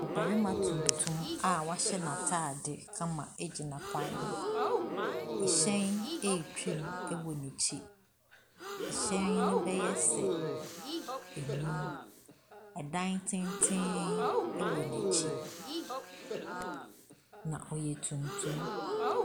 Barima tuntum a wahyɛ n'atade kama gyina kwan ho. Hyɛn retwam wɔ n'akyi. Hyɛn no bɛyɛ sɛ nnum. Dan tenten wɔ n'akyi, na ɔyɛ tuntum.